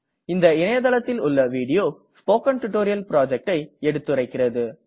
இந்த இணையதளத்தில் உள்ள வீடியோ ஸ்போக்கன் டியூட்டோரியல் projectஐ எடுத்துரைக்கிறது